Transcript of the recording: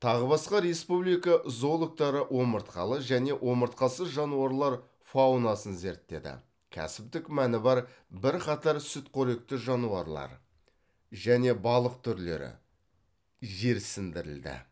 тағы басқа республика зоологтары омыртқалы және омыртқасыз жануарлар фаунасын зерттеді кәсіптік мәні бар бірқатар сүтқоректі жануарлар және балық түрлері жерсіндірілді